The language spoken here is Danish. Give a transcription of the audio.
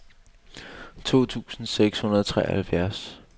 to tusind seks hundrede og treoghalvfjerds